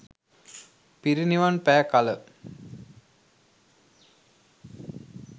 පිරිනිවන් පෑ කළ